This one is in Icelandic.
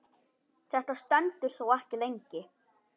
Þetta stendur þó ekki lengi.